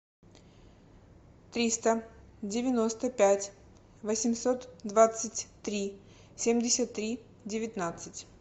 триста девяносто пять восемьсот двадцать три семьдесят три девятнадцать